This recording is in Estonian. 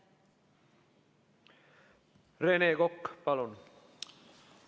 Rene Kokk, palun!